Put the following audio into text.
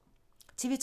TV 2